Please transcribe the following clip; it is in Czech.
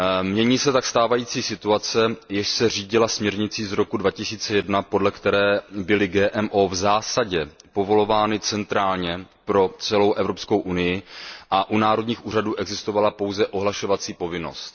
Mění se tak stávající situace, jež se řídila směrnicí z roku 2001, podle které byly GMO v zásadě povolovány centrálně pro celou Evropskou unii a u národních úřadů existovala pouze ohlašovací povinnost.